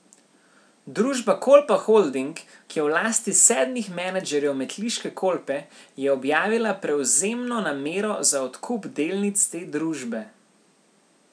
Družba Kolpa Holding, ki je v lasti sedmih menedžerjev metliške Kolpe, je objavila prevzemno namero za odkup delnic te družbe.